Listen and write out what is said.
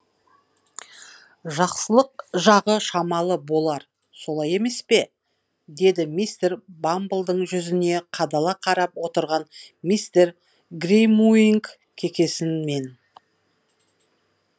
жақсылық жағы шамалы болар солай емес пе деді мистер бамблдың жүзіне қадала қарап отырған мистер гримуинг кекесінмен